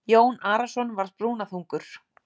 Jón Arason var brúnaþungur.